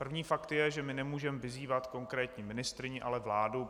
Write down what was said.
První fakt je, že my nemůžeme vyzývat konkrétní ministryni, ale vládu.